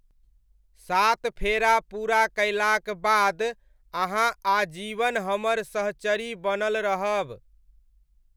सात फेरा पूरा कयलाक बाद अहाँ आजीवन हमर सहचरी बनल रहब।